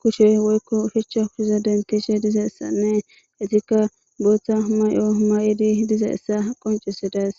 kushe woyko ushacha kushe denthishe dizaysanne etika Botha mayo mayid dizaysa qoncisides.